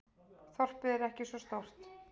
Þorpið er ekki svo stórt.